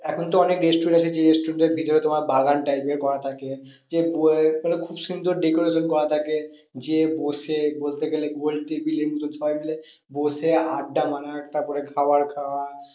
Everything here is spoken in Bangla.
এখন তো অনেক restaurant restaurant এর ভেতরে তোমার বাগান type এর করা থাকে। যে মানে খুব সুন্দর decoration করা থাকে। যেয়ে বসে বলতে গেলে গোল table সবাই মিলে বসে আড্ডা মারা তারপরে খাবার খাওয়া